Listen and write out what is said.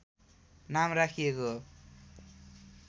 नाम राखिएको हो